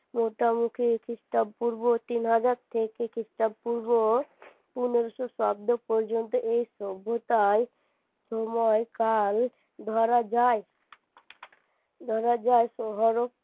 খ্রিস্টপূর্ব তিন হাজার থেকে খ্রিস্টপূর্ব পনেরোশো অব্দ পর্যন্ত এই সভ্যতার সময়কাল ধরা যায় ধরা যায়